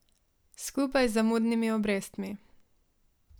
Skupaj z zamudnimi obrestmi.